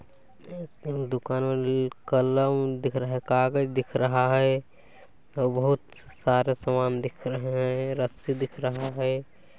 एक दुकान वाले का लोन दिख रहा है कागज़ दिख रहा है और बहुत सारा समान दिख रहे हैं रस्सी दिख रहा है।